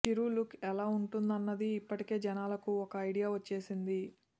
చిరు look ఎలా ఉంటుందన్నది ఇప్పటికే జనాలకు ఓ ఐడియా వచ్చేసింది